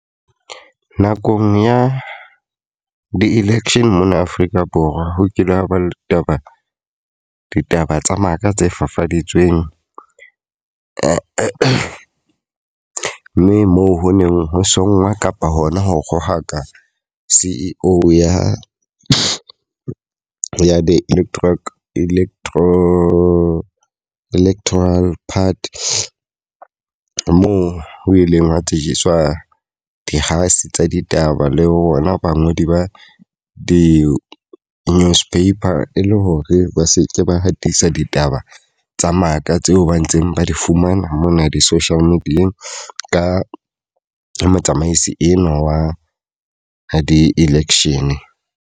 Nakong ya di-election mona Afrika Borwa, ho kile hwa ba le taba ditaba tsa maka tse fafaditsweng. Mme moo ho neng ho songwa kapa hona ho kgaohaka C_E_O ya ya di-electro part . Moo o ileng wa tsejiswa dikgase tsa ditaba le hona bangodi ba di-newspaper, e le hore ba seke ba hatisa ditaba tsa maka tseo ba ntseng ba di fumana mona di-social media-eng Ka motsamaisi enwa wa di-election.